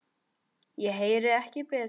Ég heyrði ekki betur.